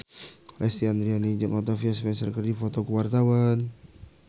Lesti Andryani jeung Octavia Spencer keur dipoto ku wartawan